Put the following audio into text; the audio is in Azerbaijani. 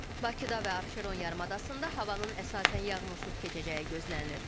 Bakıda və Abşeron yarımadasında havanın əsasən yağmursuz keçəcəyi gözlənilir.